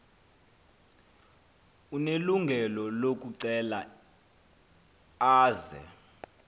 unelungelo lokucela aze